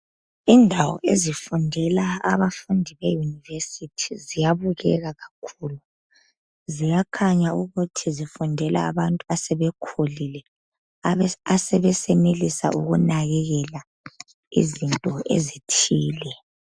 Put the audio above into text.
Indawo ezifundela abafundi eyunivesithi ziyabukeka ziyakhanya ukuthi zifundela abantu asebekhulile asebesenelisa ukunakakela izinto ezithile.